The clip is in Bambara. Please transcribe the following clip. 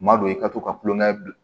Madon i ka to ka kulonkɛ bila